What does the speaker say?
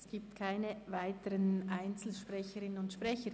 Es gibt keine weiteren Einzelsprecherinnen und Einzelsprecher.